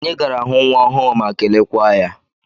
Anyị gara hụ nwa ọhụụ ma kelekwaa ya.